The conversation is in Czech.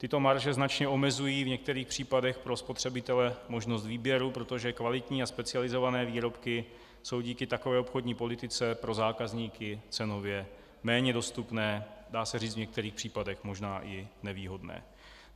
Tyto marže značně omezují v některých případech pro spotřebitele možnost výběru, protože kvalitní a specializované výrobky jsou díky takové obchodní politice pro zákazníky cenově méně dostupné, dá se říci, v některých případech možná i nevýhodné.